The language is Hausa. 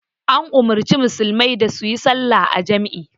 An umarci musulmai da su yi sallah a jam'i